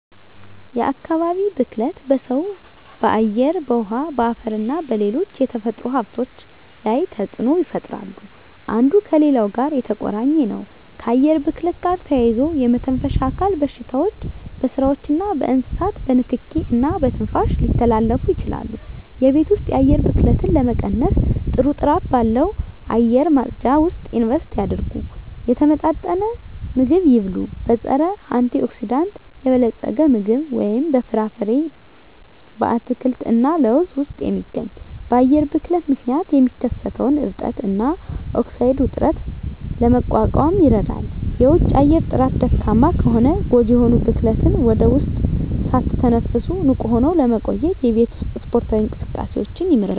የአካባቢ ብክለት በሰው በአየር በውሀ በአፈርና በሌሎች የተፈጥሮ ሀብቶች ላይ ተፅኖ ይፈጥራሉ አንዱ ከሌላው ጋር የተቆራኘ ነው ከአየር ብክለት ጋር ተያይዞ የመተንፈሻ አካል በሽታዎች በስዎችና በእንስሳት በንኪኪ እና በትንፋሽ ሊተላለፉ ይችላሉ የቤት ውስጥ የአየር ብክለትን ለመቀነስ ጥሩ ጥራት ባለው አየር ማጽጃ ውስጥ ኢንቨስት ያድርጉ። የተመጣጠነ ምግብ ይብሉ; በፀረ-አንቲኦክሲዳንት የበለፀገ ምግብ (በፍራፍሬ፣ አትክልት እና ለውዝ ውስጥ የሚገኝ) በአየር ብክለት ምክንያት የሚከሰተውን እብጠት እና ኦክሳይድ ውጥረትን ለመቋቋም ይረዳል። የውጪ አየር ጥራት ደካማ ከሆነ ጎጂ የሆኑ ብክለትን ወደ ውስጥ ሳትተነፍሱ ንቁ ሆነው ለመቆየት የቤት ውስጥ ስፖርታዊ እንቅስቃሴዎችን ይምረጡ።